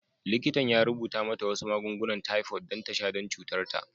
Likitan ya rubuta mata wasu magungunan typhoid don ta sha don cutar ta.